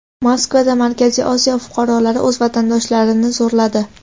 Moskvada Markaziy Osiyo fuqarolari o‘z vatandoshlarini zo‘rladi.